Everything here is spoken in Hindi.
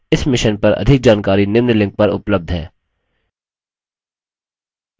इस mission पर अधिक जानकारी निम्न लिंक पर उपलब्ध है